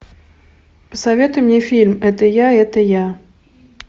посоветуй мне фильм это я это я